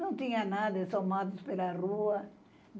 Não tinha nada, só matos pela rua.